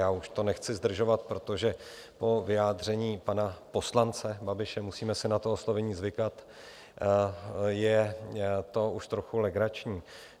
Já už to nechci zdržovat, protože po vyjádření pana poslance Babiše - musíme si na to oslovení zvykat - je to už trochu legrační.